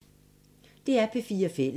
DR P4 Fælles